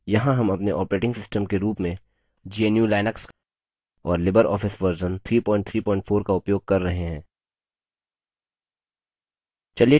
यहाँ हम अपने operating system के रूप में gnu/लिनक्स और libreoffice version 334 का उपयोग कर रहे हैं